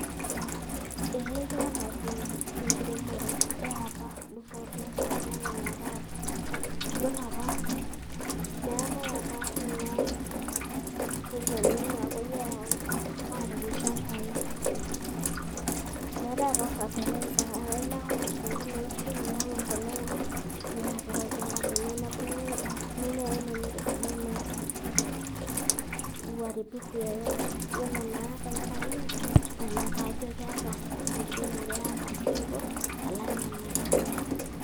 Ee keeta pi, enkiremore eapa dupoto alang' ene taata. Yiolo apa, meetae apa kuna poisoni napuoi ayau apik ilchambai. Meetae apa fertiliser ,ah ilo ake olosinko lo nkishu nintau embolea ino, nia apik olchamba lino. Nebulu mimea inonok esidai, Meeta uharibifu yoyote. Ore naa tenkaraki ina, na ina pajo keeta enkiremore eapa dupoto alang' ene taata.